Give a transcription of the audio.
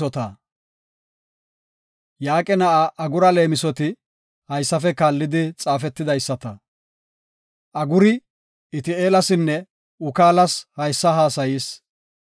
Yaaqe na7aa Agura leemisoti haysafe kaallidi xaafetidaysata. Aguri Iti7eelasinne Ukaalas haysa haasayis.